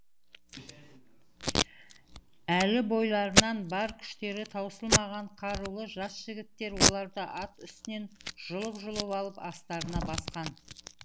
әлі бойларынан бар күштері таусылмаған қарулы жас жігіттер оларды ат үстінен жұлып жұлып алып астарына басқан